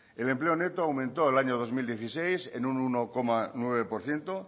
el empleo neto aumentó el año dos mil dieciséis en un uno coma nueve por ciento